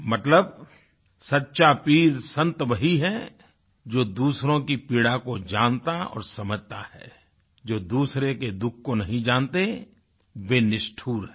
मतलब सच्चा पीर संत वही है जो दूसरो की पीड़ा को जानता और समझता है जो दूसरे के दुःख को नहीं जानते वे निष्ठुर हैं